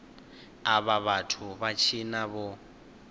avha vhathu vha tshina vho